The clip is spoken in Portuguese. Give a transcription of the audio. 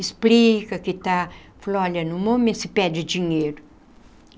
Explica que está... Fala, olha, no momento se pede dinheiro.